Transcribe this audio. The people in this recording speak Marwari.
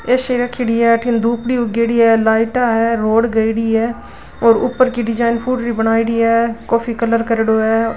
ऐसी रखेड़ी है अठन दुबडी उगेड़ी है लाइट है रोड गएडी है और ऊपर की डिजाइन पूरी बनाईडि है कॉफी कलर करेडॉ है।